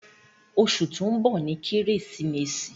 ́́Óṣù to ńbo ni Keresimesi